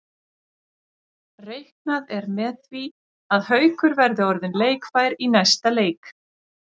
Reiknað er með því að Haukur verði orðinn leikfær í næsta leik.